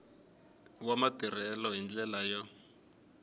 wa matirhelo hi ndlela yo